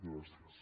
gràcies